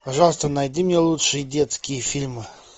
пожалуйста найди мне лучшие детские фильмы